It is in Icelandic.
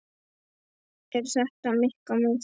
Er þetta Mikka mús mót?